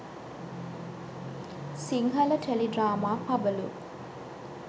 sinhala teledrama pabalu